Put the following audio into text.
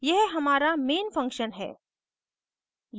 यह हमारा main function है